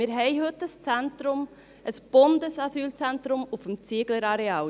Wir haben heute ein Zentrum, ein Bundesasylzentrum auf dem Zieglerareal.